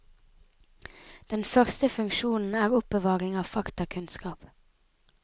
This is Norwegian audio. Den første funksjonen er oppbevaring av faktakunnskap.